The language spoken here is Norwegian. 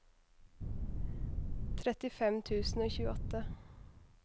trettifem tusen og tjueåtte